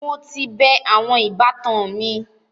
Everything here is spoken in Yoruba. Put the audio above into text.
Mo ti bẹẹ awọn “ìbátan” mi